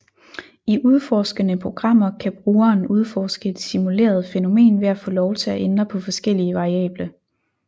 I udforskende programmer kan brugeren udforske et simuleret fænomen ved at få lov til at ændre på forskellige variable